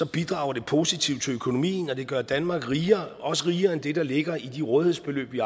bidrager det positivt til økonomien og det gør danmark rigere også rigere end det der ligger i de rådighedsbeløb vi